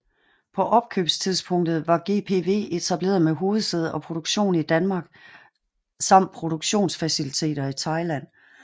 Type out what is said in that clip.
På opkøbstidspunktet var GPV etableret med hovedsæde og produktion i Danmark samt produktionsfaciliteter i Thailand